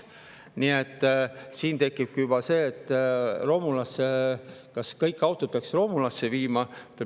Nii et siin tekib juba see, kas kõik autod peaks romulasse viima.